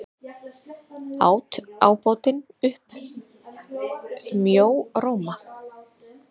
át ábótinn upp mjóróma.